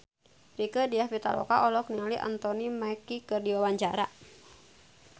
Rieke Diah Pitaloka olohok ningali Anthony Mackie keur diwawancara